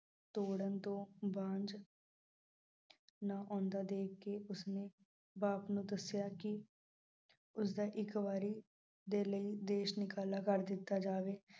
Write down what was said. ਤੋੜਨ ਤੋ ਬਾਜ ਨਾ ਆਉਂਦਾ ਵੇਖ ਕੇ ਉਸਨੂੰ ਬਾਪ ਨੂੰ ਦੱਸਿਆ ਕਿ ਉਸਦਾ ਇੱਕ ਵਾਰੀ ਦੇ ਲਈ ਦੇਸ਼ ਨਿਕਾਲਾ ਕਰ ਦਿੱਤਾ ਜਾਵੇ।